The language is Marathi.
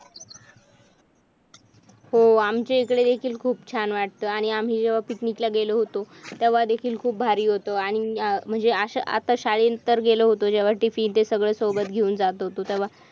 हो आमच्या इकडे कि खूप छान वाटते आणि आम्ही picnic ला गेलो होतो तेव्हा देखील खूप भारी होत आणि म्हणजे आशा आता शाळेत तर गेलो होतो जेव्हा tiffin ते सगळं सोबत घेऊन जात होतो तव्हा